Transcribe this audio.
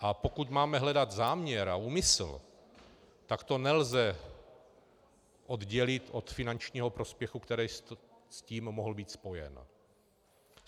A pokud máme hledat záměr a úmysl, tak to nelze oddělit od finančního prospěchu, který s tím mohl být spojen.